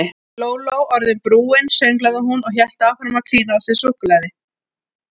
Lóló orðin brún sönglaði hún og hélt áfram að klína á sig súkkulaði.